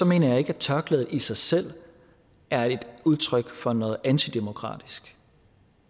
mener jeg ikke at tørklædet i sig selv er udtryk for noget antidemokratisk